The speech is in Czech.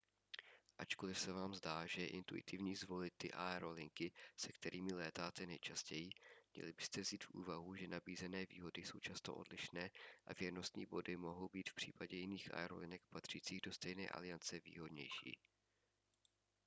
ačkoliv se vám zdá že je intuitivní zvolit ty aerolinky se kterými létáte nejčastěji měli byste vzít v úvahu že nabízené výhody jsou často odlišné a věrnostní body mohou být v případě jiných aerolinek patřících do stejné aliance výhodnější